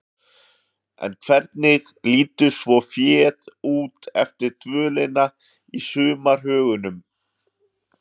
En hvernig lítur svo féð út eftir dvölina í sumarhögunum?